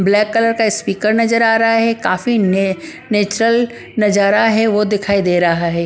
Black colour का speaker नजर आ रहा है काफी नेचुरल नजारा है वो दिखाई दे रहा है ।